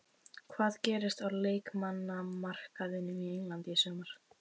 Hvað gerist á leikmannamarkaðinum á Englandi í sumar?